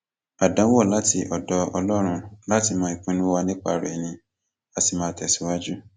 àdánwò láti ọdọ ọlọrun láti mọ ìpinnu wa nípa rẹ ni a sì máa tẹsíwájú